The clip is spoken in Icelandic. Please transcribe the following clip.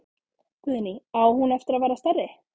Guðný: Á hún eftir að verða stærri?